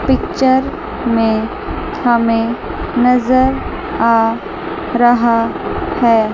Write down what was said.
Picture में हमे नजर आ रहा है।